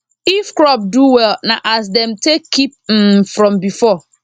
if crop do well na as dem take keep m from before